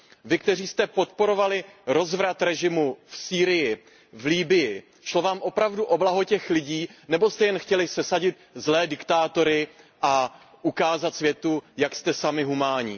Vy, kteří jste podporovali rozvrat režimu v Sýrii, v Libyi, šlo vám opravdu o blaho těch lidí nebo jste jen chtěli sesadit zlé diktátory a ukázat světu, jak jste sami humánní?